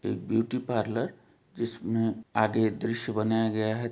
ये beauty parlour जिसमें आगे दृश्य बनाया गया है।